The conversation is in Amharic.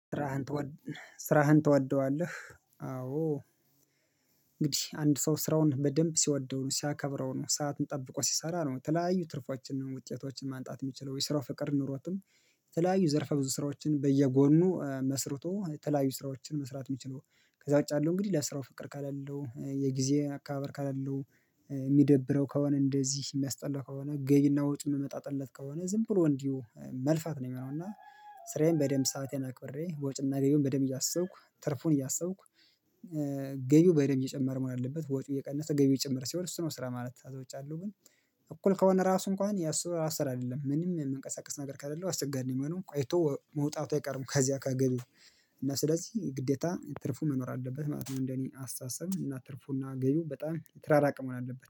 ስራህን ትወድ? ስራህን ትወድዋለህ አዎ እንግዲህ አንድ ሰው ስራውን በደንብ ሲወደው ነው ሲያከብረው ነው ሰዓትን ጠብቆ ሲሰራ ነው የተለያዩ ትርፎችን ውጤቶችን ማምጣት የሚችለው የስራ ፍቅር ኖሮትም የተለያዩ ዘርፍ ብዙ ስራዎችን በየጎኑ መስርቶ የተለያዩ ስራዎችን መስራት የሚችለው ከዛው ውጭ ያለው እንግዲህ ለስራው ፍቅር ከሌለው የጊዜ አከባበር ከሌለው የሚደብረው ከሆነ እንደዚህ የሚያስጠላው ከሆነ ገቢ እና ወጭ የሚመጣለት ከሆነ ዝም ብሎ እንዲሁ መልፋት ነው የሚሆነው እና ስራየን በደንብ ሰአቴን አክበሬ ወጭና ገብዩን በደንብ እያሰብኩክ ትርፉን እያሰብኩ ገቢው በደምብ እየጨመረ መሆን አለበት፣ ወጪው የቀነሰ ገቢው የጨመረ ሲሆን እሱ ነው ስራ ማለት ከዛ ውጭ ያለው ግን እኩል ከሆነ ራሱ እንኳን ያሰው እየሰራ አይደለም ምንም መንቀሳቀስ ነገር ከሌለው አስቸጋሪ ነው የሚሆነው ቆይቶ ከዛ መውጣቱ አይቀርም ከዚያ ከገቢው እና ስለዚህ ግዴታ ትርፍ መኖር አለበት ማለትም እንደኔ አስታሰብ እና ትርፉና ገቢው በጣም የተራራቀ መሆን አለበት።